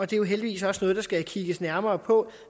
det er jo heldigvis også noget der skal kigges nærmere på